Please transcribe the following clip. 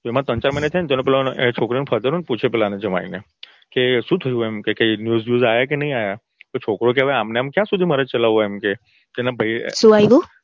એમાં ત્રણ ચાર મહિના છે ને છોકરાના father પૂછે પેલા જમાઈને કે શું થયું એમ કે કઈ news બ્યઝ આવ્યા કે નઈ આયા છોકરો કે આમને આમ મારે ક્યાં સુધી ચલાવવું એમ કે એના ભઈ શું આયવું